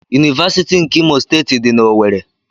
Univasiti nke Imo steeti di na owerri.